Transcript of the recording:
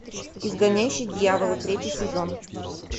изгоняющий дьявола третий сезон